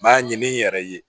N b'a ɲini n yɛrɛ ye